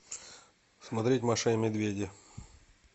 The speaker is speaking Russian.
смотреть маша и медведи